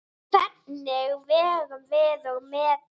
Hvernig vegum við og metum?